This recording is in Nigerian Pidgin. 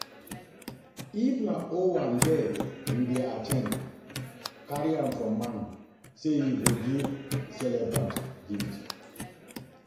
If na owambe you you dey at ten d carry am for mind sey you go give celebrant gift